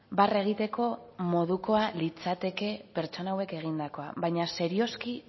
barre egiteko modukoa litzateke pertsona hauek egindakoa baina serioski